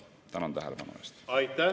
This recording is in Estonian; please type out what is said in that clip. Tänan tähelepanu eest!